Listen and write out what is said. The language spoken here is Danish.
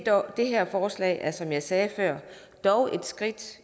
det her forslag er som jeg sagde før dog et skridt